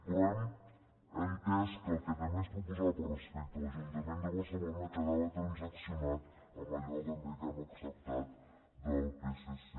però hem entès que el que també ens proposava respecte a l’ajuntament de barcelona quedava trans·accionat amb allò també que hem acceptat del psc